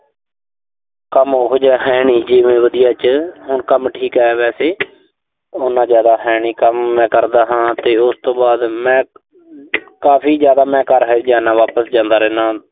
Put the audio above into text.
ਕੰਮ ਉਹੋ ਜਿਹਾ ਹੈਨੀ ਜਿਵੇਂ ਵਧੀਆ ਚ। ਹੁਣ ਕੰਮ ਠੀਕ ਆ ਵੈਸੇ ਉਨਾ ਜ਼ਿਆਦਾ ਹੈਨੀ, ਕੰਮ ਮੈਂ ਕਰਦਾ ਹਾਂ ਤੇ ਉਸ ਤੋਂ ਬਾਅਦ ਮੈਂ ਕਾਫ਼ੀ ਜ਼ਿਆਦਾ ਮੈਂ ਘਰ ਹਾਲੇ ਵੀ ਜਾਨਾ, ਵਾਪਸ ਜਾਨਾ ਰਹਿਨਾ।